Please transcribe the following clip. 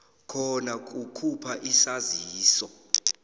khona kukhupha isaziso